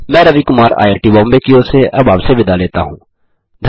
मैं Ravi Kumar I I T Bombay की ओर से अब आपसे विदा लेता हूँ